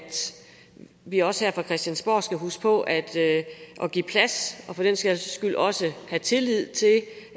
vi også her fra christiansborg skal huske på at give plads og for den sags skyld også at have tillid til